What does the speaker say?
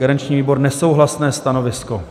Garanční výbor: nesouhlasné stanovisko.